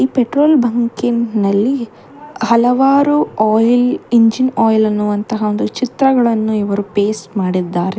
Petrol ಬಂಕಿನಲ್ಲಿ ಹಲವಾರು oil engine oil ಎನ್ನುವಂತಹ ಚಿತ್ರಗಳನ್ನು ಇವರು ಪೇಸ್ಟ್ ಮಾಡಿದ್ದಾರೆ.